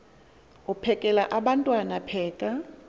uphekel abantwana pheka